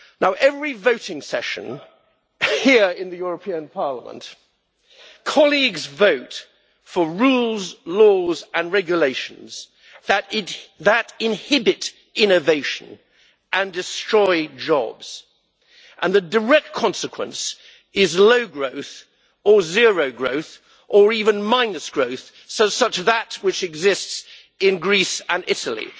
At every voting session here in the European Parliament, colleagues vote for rules, laws and regulations that inhibit innovation and destroy jobs, and the direct consequence is low growth, or zero growth, or even minus growth such as that which exists in Greece and Italy.